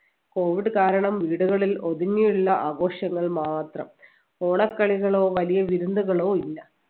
covid കാരണം വീടുകളിൽ ഒതുങ്ങിയുള്ള ആഘോഷങ്ങൾ മാത്രം ഓണക്കളികളോ വലിയ വിരുന്നുകളോ ഇല്ല